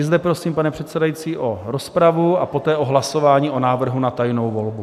I zde prosím, pane předsedající, o rozpravu a poté o hlasování o návrhu na tajnou volbu.